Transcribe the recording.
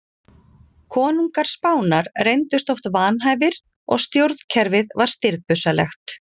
Konungar Spánar reyndust oft vanhæfir og stjórnkerfið var stirðbusalegt.